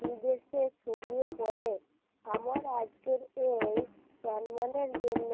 বিদেশে ছড়িয়ে পড়ে আমার আজকের এই চন্দনের জন্য